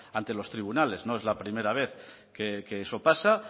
ante los tribunales no es la primera vez que eso pasa